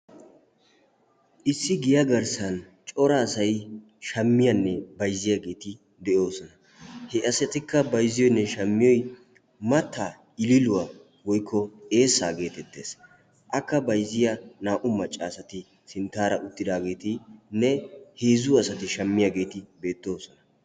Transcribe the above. Issi giyaa garssan cora asai shammiyaanne baizziyaageeti de'oosona he asatikka bayzziyoynne shammiyoy matta iliiluwaa woykko eessaa geetettees akka baizziya naa"u maccaasati sinttaara uttidaageetinne heezzu asati shammiyaageeti beettooosona.